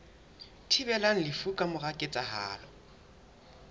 thibelang lefu ka mora ketsahalo